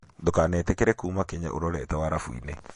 Ndũkanetĩkĩre kuuma Kenya ũrorete warabu-inĩ